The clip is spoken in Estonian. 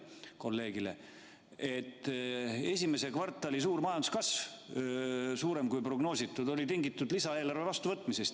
Te ütlesite, et esimese kvartali prognoositust suurem majanduskasv oli tingitud lisaeelarve vastuvõtmisest.